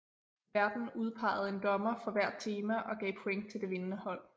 Værten udpegede en dommer for hvert tema og gav point til det vindende hold